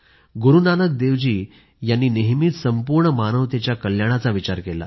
गुरूनानक देवजी यांनी नेहमीच संपूर्ण मानवतेच्या कल्याणाचा विचार केला